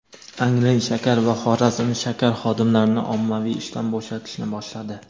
"Angren shakar" va "Xorazm shakar" xodimlarini ommaviy ishdan bo‘shatishni boshladi.